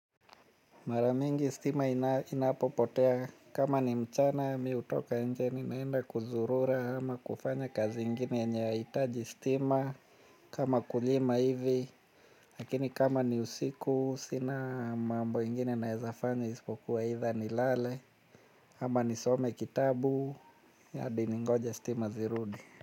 Mara mingi stima inapopotea kama ni mchana mi hutoka nje ninaenda kuzurura ama kufanya kazi ingini yenye haihitaji stima kama kulima hivi. Lakini kama ni usiku sina mambo ingine naezafanya ispokuwa either nilale ama nisome kitabu hadi ningoje stima zirudi.